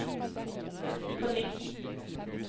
på nytt